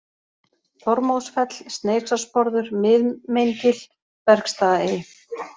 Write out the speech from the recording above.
Þormóðsfell, Sneisarsporður, Mið-Meingil, Bergstaðaey